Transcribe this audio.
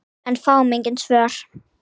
En fáum engin svör.